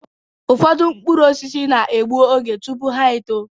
Ụfọdụ mkpụrụ osisi na-egbu oge tụpụ ha-eto